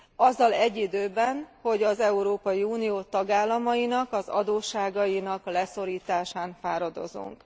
azzal egy időben, hogy az Európai Unió tagállamainak az adósságainak leszorításán fáradozunk.